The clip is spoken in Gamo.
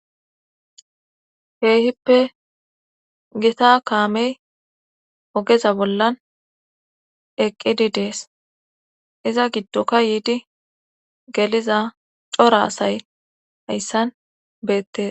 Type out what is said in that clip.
heehippe gita kaamey ogeza bollan eqqidi dees iza giddoka yiidi geliza cora asay hayssan beettesa